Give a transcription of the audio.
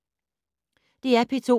DR P2